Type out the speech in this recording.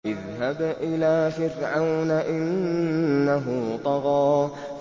اذْهَبْ إِلَىٰ فِرْعَوْنَ إِنَّهُ طَغَىٰ